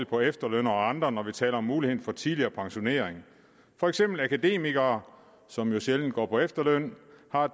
på efterlønnere og andre når vi taler om muligheden for tidligere pensionering for eksempel har akademikere som jo sjældent går på efterløn